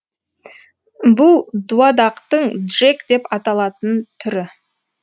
бұл дуадақтың джек деп аталатын түрі